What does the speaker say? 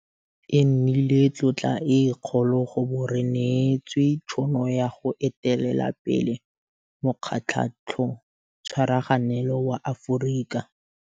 E nnile tlotla e kgolo go bo re neetswe tšhono ya go etelela pele Mokgatlhotshwaraganelo wa Aforika, AU.